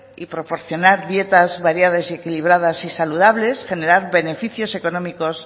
y proporcionar dietas variadas y equilibradas y saludables generar beneficios económicos